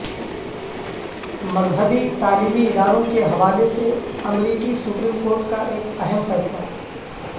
مذہبی تعلیمی اداروں کے حوالے سے امریکی سپریم کورٹ کا ایک اہم فیصلہ